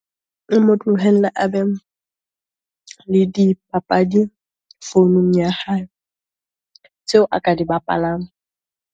O mo tlohelle a be le dipapadi founung ya hae, tseo a ka di bapalang.